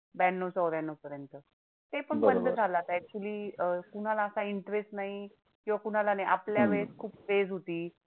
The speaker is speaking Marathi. ब्याण्णव चौऱ्याण्णवपर्यंत. ते पण बंद झालं आता actually अह कुणाला आता interest नाही किंवा कुणाला नाही आपल्या वेळेस खूप craze होती.